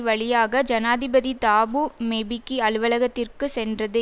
வழியாக ஜனாதிபதி Thabo Mbeki அலுவலகத்திற்கு சென்றது